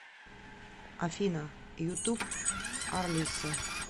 афина ютуб арлиса